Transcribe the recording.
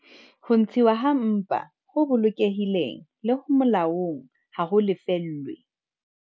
Ho ntshuwa ha mpa ho bolokehileng le ho molaong ha ho lefellwe